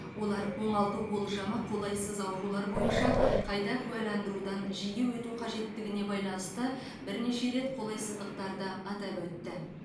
олар оңалту болжамы қолайсыз аурулар бойынша қайта куәландырудан жиі өту қажеттігіне байланысты бірнеше рет қолайсыздықтарды атап өтті